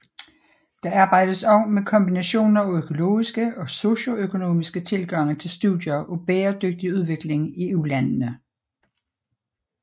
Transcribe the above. Der arbejdes også med kombinationer af økologiske og socioøkonomiske tilgange til studier af bæredygtig udvikling i ulandene